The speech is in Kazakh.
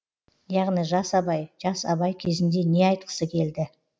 яғни жас абай жас абай кезінде не айтқысы келді